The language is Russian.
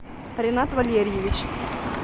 ринат валерьевич